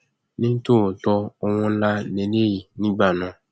ní tòótọ owó ńlá lélẹyìí nígbà náà